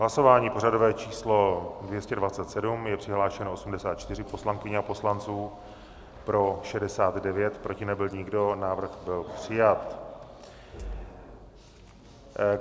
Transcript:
Hlasování pořadové číslo 227, je přihlášeno 84 poslankyň a poslanců, pro 69, proti nebyl nikdo, návrh byl přijat.